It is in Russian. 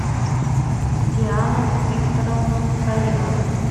диану викторовну салимову